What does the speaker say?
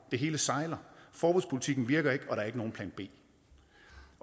det hele sejler forbudspolitikken virker ikke og der er ikke nogen plan b